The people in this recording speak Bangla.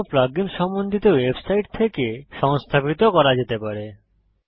অন্য প্লাগ ইন্স সম্বন্ধিত ওয়েবসাইট থেকে সংস্থাপিত করা যেতে পারে